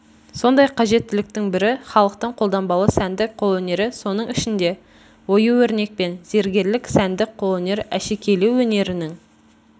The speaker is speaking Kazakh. сондай қажеттіліктің бірі халықтың қолданбалы сәндік қолөнері соның ішінде ою-өрнек пен зергерлік сәндік қолөнер әшекейлеу өнерінің